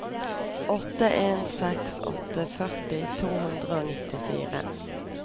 åtte en seks åtte førti to hundre og nittifire